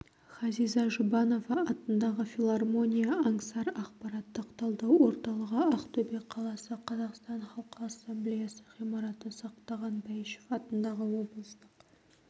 ғазиза жұбанова атындағы филармония аңсар ақпараттық талдау орталығы ақтөбе қаласы қазақстан халқы ассамблеясы ғимараты сақтаған бәйішев атындағы облыстық